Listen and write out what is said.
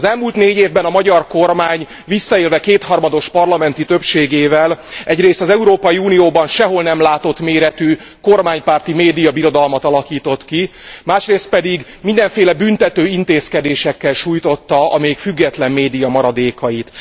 Az elmúlt négy évben a magyar kormány, visszaélve kétharmados parlamenti többségével, egyrészt az Európai Unióban sehol nem látott méretű kormánypárti médiabirodalmat alakított ki, másrészt pedig mindenféle büntetőintézkedésekkel súlytotta a még független média maradékait.